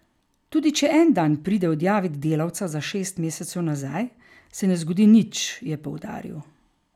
Tudi če en dan pride odjavit delavca za šest mesecev nazaj, se ne zgodi nič, je poudaril.